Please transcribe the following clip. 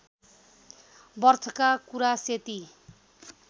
बर्थका कुरा सेती